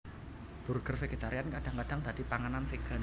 Burger vegetarian kadang kadang dadi panganan vegan